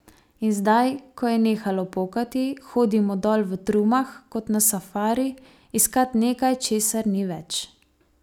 In zdaj, ko je nehalo pokati, hodimo dol v trumah, kot na safari, iskat nekaj, česar ni več.